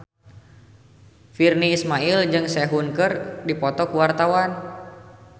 Virnie Ismail jeung Sehun keur dipoto ku wartawan